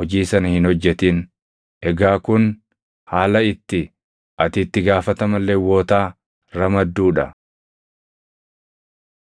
hojii sana hin hojjetin. Egaa kun haala itti ati itti gaafatama Lewwotaa ramadduu dha.”